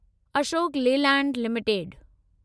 Ashok Leyland limited